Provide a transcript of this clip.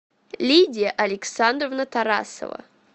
лидия александровна тарасова